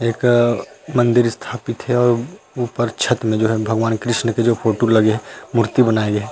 एक मन्दिर स्थापित हे अऊ ऊपर छत्त में जो हे भगवान कृष्ण के जो फोटो लगे हे मूर्ति बनाये गे हे।